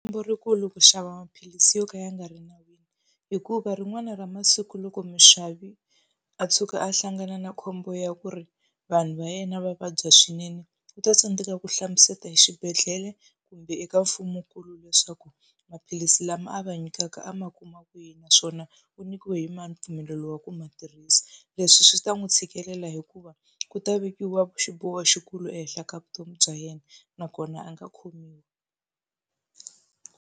Khombo rikulu ku xava maphilisi yo ka ya nga ri nawini, i ku va rin'wana ra masiku loko muxavi a tshuka a hlangane na khombo ya ku ri vanhu va yena va vabya swinene, u ta tsandzeka ku hlamusela hi xibedhlele kumbe eka mfumonkulu leswaku maphilisi lama a va nyikaka a ma kuma kwihi naswona u nyikiwe hi mani mpfumelelo wa ku ma tirhisa. Leswi swi ta n'wi tshikelela hikuva ku ta vekiwa xiboho xikulu ehenhla ka vutomi bya yena, nakona a nga khomiwi.